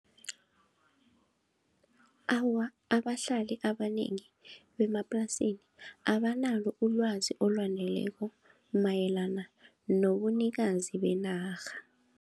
Awa, abahlali abanengi bemaplasini abanalo ulwazi olwaneleko mayelana nobunikazi benarha.